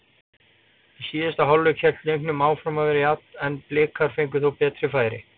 Í síðari hálfleik hélt leikurinn áfram að vera jafn en Blikar fengu þó betri færi.